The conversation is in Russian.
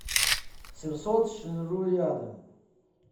семьсотшинру рядом